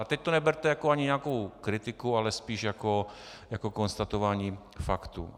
A teď to neberte ani jako nějakou kritiku, ale spíš jako konstatování faktů.